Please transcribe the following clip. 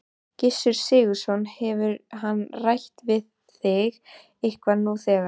Gissur Sigurðsson: Hefur hann rætt við þig eitthvað nú þegar?